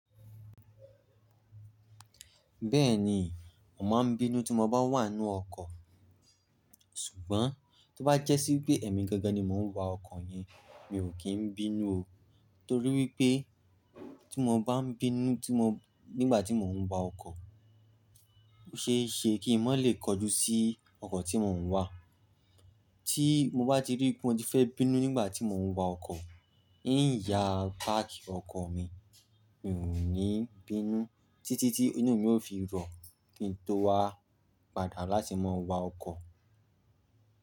Bẹ́ẹ̀ni, mo màá bí nu tí mo bá wà ninu ọkọ̀. Ṣùgbọ́n tí ó bá jẹ́ sí pé ẹ̀mi gangan ni mò ń wa ọkọ̀ yẹn mi ò kí n bínú o. Nítorí wípé tí mo bá ń bínú nígbà tí mò ń wa ọkọ̀, kò ṣeéṣe kí i mó lè kojú sí ọkọ̀ tí mò ń wà. Tí mo bá ti rí pé wọ́n ti fẹ́ bínú nígbà tí mò ń wọ ọkọ̀, yí ń ya páàkì ọkọ̀ mi, mi ò ní bínú títí tí inú mi ó fi rọ̀ kí n tó wá padà láti máa wọ ọkọ̀.